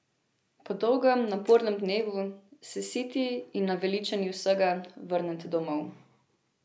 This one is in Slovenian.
Po dolgem, napornem dnevu se, siti in naveličani vsega, vrnete domov.